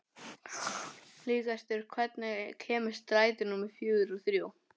Hlégestur, hvenær kemur strætó númer fjörutíu og þrjú?